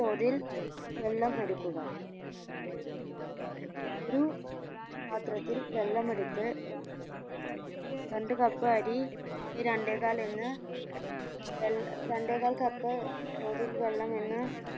തോതിൽ വെള്ളം എടുക്കുക ഒരു പാത്രത്തിൽ വെള്ളം എടുത്ത് രണ്ട് cup അരി ക്ക് രണ്ടേകാൽ എന്ന വേ ഏർ രണ്ടേകാൽ cup തോതിൽ വെള്ളം എന്ന